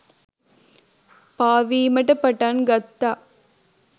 පාවීමට පටන් ගත්තා.